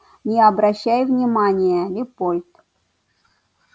не обращай внимания лепольд